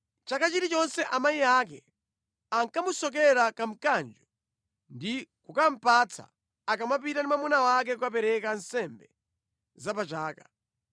Chaka chilichonse amayi ake ankamusokera kamkanjo ndi kukamupatsa akamapita ndi mwamuna wake kukapereka nsembe za pa chaka.